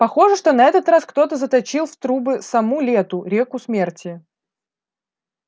похоже что на этот раз кто-то заточил в трубы саму лету реку смерти